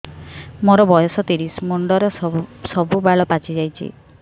ମୋର ବୟସ ତିରିଶ ମୁଣ୍ଡରେ ସବୁ ବାଳ ପାଚିଯାଇଛି